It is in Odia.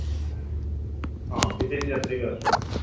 ହଁ ବିଦେଶୀ ଯାତ୍ରୀମାନେ ବି ଆସୁଛନ୍ତି